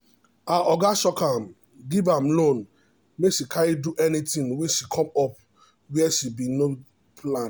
her oga shock am give am loan make she carry do anything wey come up where she no bin plan